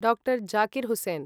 डा. जाकिर् हुसैन्